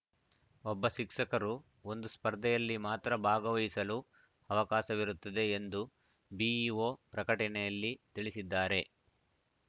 ಒಬ್ಬ ಶಿಕ್ಷಕರು ಒಂದು ಸ್ಪರ್ಧೆಯಲ್ಲಿ ಮಾತ್ರ ಭಾಗವಹಿಸಲು ಅವಕಾಶವಿರುತ್ತದೆ ಎಂದು ಬಿಇಒ ಪ್ರಕಟಣೆಯಲ್ಲಿ ತಿಳಿಸಿದ್ದಾರೆ